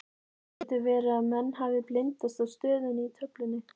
Getur verði að menn hafi blindast af stöðunni í töflunni?